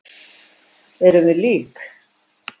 Erum við lík?